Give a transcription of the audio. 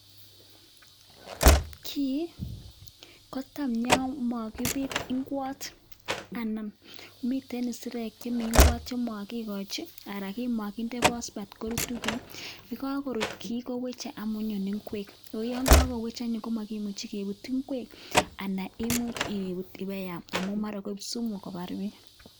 Kii kotam yo makibit nguot anan miten isirek chemi ngwot chemakikochi anan kimakinde phospate korutu kii yekakorut kii koweche amu nyone ngwek akoyo kakowech anyun komakimuchoi kebut ngwek anan imuch ibut ipkoyam amu mara koek sumu kobar biik.